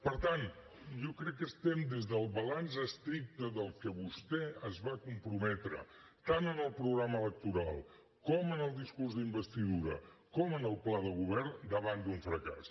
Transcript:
per tant jo crec que estem des del balanç estricte d’allò a què vostè es va comprometre tant en el programa electoral com en el discurs d’investidura i en el pla de govern davant d’un fracàs